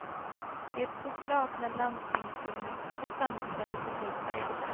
Det stod klart när landstingsfullmäktige sammanträdde på tisdagen.